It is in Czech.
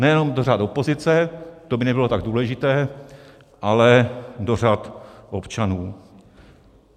Nejen do řad opozice, to by nebylo tak důležité, ale do řad občanů.